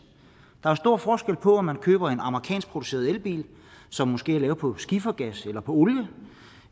der er stor forskel på om man køber en amerikanskproduceret elbil som måske er lavet på skifergas eller olie